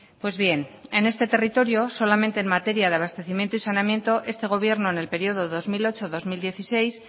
pues bien en este territorio solamente en materia de abastecimiento y saneamiento este gobierno en el periodo dos mil ocho dos mil dieciséis